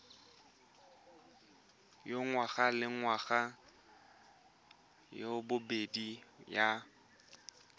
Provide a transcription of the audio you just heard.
ya ngwagalengwaga ya bobedi ya